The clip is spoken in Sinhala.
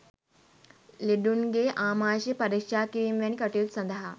ලෙඩුන්ගේ ආමාෂය පරික්ෂා කිරීම් වැනි කටයුතු සඳහා